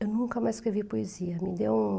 Eu nunca mais escrevi poesia, me deu um...